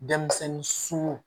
Denmisɛnnin sun